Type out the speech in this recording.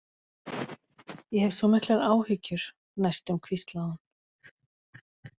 Ég hef svo miklar áhyggjur, næstum hvíslaði hún.